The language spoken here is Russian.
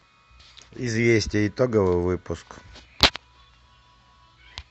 известия итоговый выпуск